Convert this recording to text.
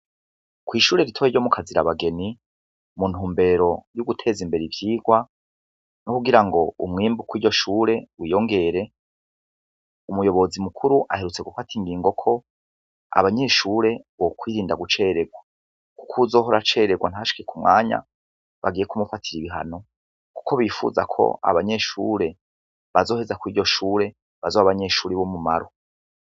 Kw'ishure ritoya ryo mukazirabageni, muntumbero yo guteza imbere ivyigwa, no kugira ngo umwimbu kw'iryo shure wiyongere, umuyobozi mukuru aherutse gufata ingingo ko, abanyeshure bokwirinda gucererwa. Ko uwuzohora acererwa ntashike k'umwanya, bagiye kumufatira ibihano. Kuko bifuza ko abanyeshure bazoheza kw'iryo shure, bazoba abanyeshure b'umumaro.